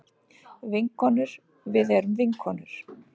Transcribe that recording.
Vinkonur við erum vinkonur.